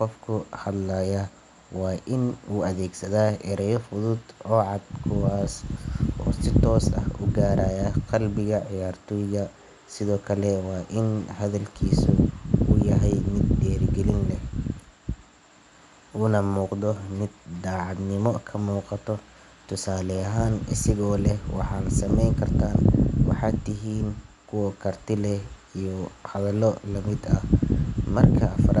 qofko hadlaya waain udageesada ereyal kuwas oo si tosa ugaraya hal milyan ciyaartooyda sidhoo kale waain hadalkisu yaahay mid dirigilin leh unamuqdo mid dacaadnimo kamuqaato tusaale aahan waxa sameyni karta kuwa tusale leeh hadhalo marka aafarad.